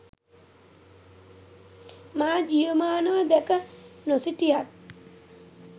මා ජීවමානව දැක නොසිටියත්